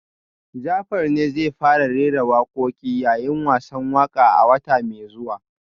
Jafar ne zai fara rera wakoki yayin wasan waka a wata mai zuwa